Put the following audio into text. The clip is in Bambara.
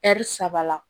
saba la